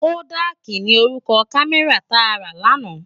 Kódàki ni órúkò kàmèrá tá rá làná